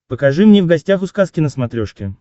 покажи мне в гостях у сказки на смотрешке